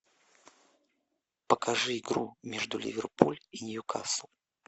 покажи игру между ливерпуль и ньюкасл